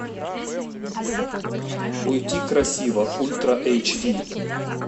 уйти красиво ультра эйч ди